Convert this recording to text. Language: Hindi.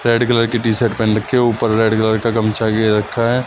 रेड कलर की टी शर्ट पहन रखा है ऊपर रेड कलर का गमछा घेर रहा है।